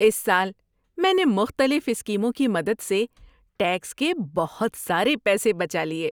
اس سال میں نے مختلف اسکیموں کی مدد سے ٹیکس کے بہت سارے پیسے بچا لیے۔